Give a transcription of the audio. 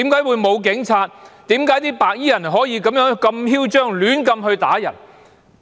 為何白衣人可以如此囂張地胡亂打人呢？